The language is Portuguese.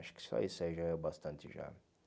Acho que só isso aí já é o bastante já.